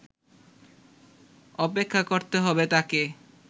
অপেক্ষা করতে হবে তাঁকে